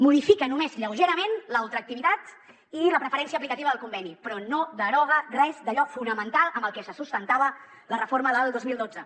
modifica només lleugerament la ultraactivitat i la preferència aplicativa del conveni però no deroga res d’allò fonamental amb el que se sustentava la reforma del dos mil dotze